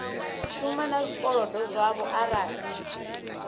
shuma na zwikolodo zwavho arali